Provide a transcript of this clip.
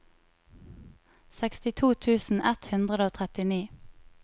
sekstito tusen ett hundre og trettini